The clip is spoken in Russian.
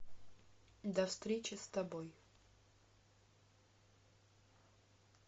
до встречи с тобой